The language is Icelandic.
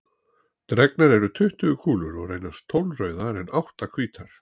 Dregnar eru tuttugu kúlur og reynast tólf rauðar en átta hvítar.